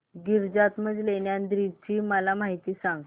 गिरिजात्मज लेण्याद्री ची मला माहिती सांग